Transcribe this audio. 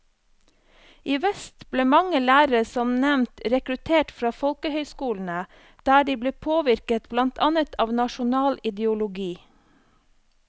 I vest ble mange lærere som nevnt rekruttert fra folkehøyskolene, der de ble påvirket blant annet av nasjonal ideologi.